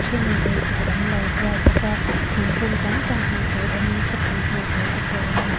thenin eitur an lo zuar bawk a thingkung tam tak hmuh tur awmin khawpui hmuh tur te pawh a awm a ni.